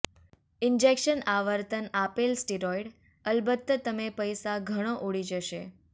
injection આવર્તન આપેલ steroid અલબત્ત તમે પૈસા ઘણો ઉડી જશે